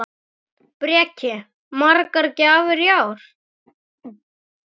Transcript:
Breki: Margar gjafir í ár?